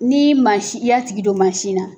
Ni mansi i y'a tigi don mansin na.